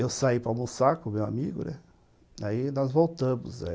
Eu saí para almoçar com o meu amigo, né, aí nós voltamos.